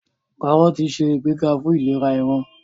Kárọ́ọ̀tì nse igbega fún ìlera ìran.